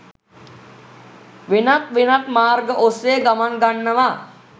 වෙනත් වෙනත් මාර්ග ඔස්සේ ගමන් ගන්නවා.